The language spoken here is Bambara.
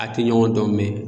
A te ɲɔgɔn dɔn mɛ